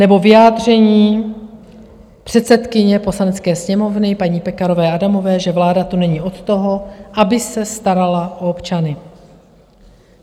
Nebo vyjádření předsedkyně Poslanecké sněmovny, paní Pekarové Adamové, že vláda tu není od toho, aby se starala o občany.